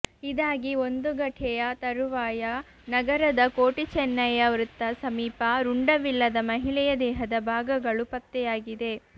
ಇದಾಗಿ ಒಂದು ಗಟೆಯ ತರುವಾಯ ನಗರದ ಕೋಟಿ ಚೆನ್ನಯ್ಯ ವೃತ್ತ ಸಮೀಪ ರುಂಡವಿಲ್ಲದ ಮಹಿಳೆಯ ದೇಹದ ಭಾಗಗಳು ಪತ್ತೆಯಾಗಿದೆ